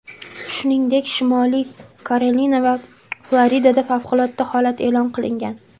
Shuningdek, Shimoliy Karolina va Floridada favqulodda holat e’lon qilingan.